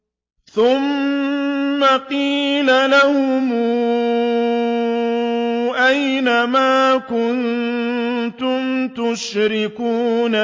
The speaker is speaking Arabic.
ثُمَّ قِيلَ لَهُمْ أَيْنَ مَا كُنتُمْ تُشْرِكُونَ